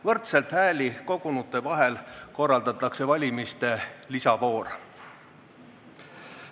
Võrdselt hääli kogunute vahel korraldatakse valimiste lisavoor.